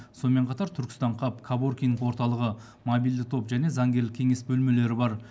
сонымен қатар түркістан хаб коворкинг орталығы мобильді топ және заңгерлік кеңес бөлмелері бар